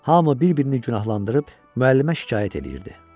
Hamı bir-birini günahlandırıb müəllimə şikayət eləyirdi.